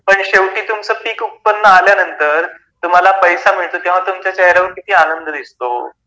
पण शेवटी तुमचे पीक उत्पन्न आल्यानंतर तुम्हाला पैसा मिळवून किती आनंद दिसतो ?